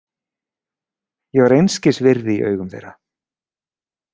Ég var einskis virði í augum þeirra.